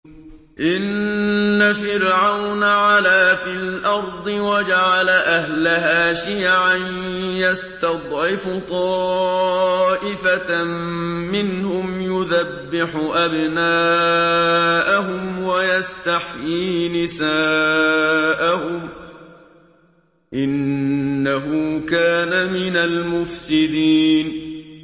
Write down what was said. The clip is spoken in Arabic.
إِنَّ فِرْعَوْنَ عَلَا فِي الْأَرْضِ وَجَعَلَ أَهْلَهَا شِيَعًا يَسْتَضْعِفُ طَائِفَةً مِّنْهُمْ يُذَبِّحُ أَبْنَاءَهُمْ وَيَسْتَحْيِي نِسَاءَهُمْ ۚ إِنَّهُ كَانَ مِنَ الْمُفْسِدِينَ